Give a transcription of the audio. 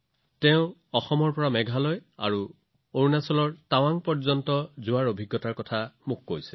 তেওঁ মোক অসমৰ পৰা মেঘালয় আৰু অৰুণাচল প্ৰদেশৰ টাৱাঙলৈ যাত্ৰাৰ বিষয়ে বৰ্ণনা কৰিছিল